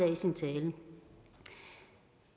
i sin tale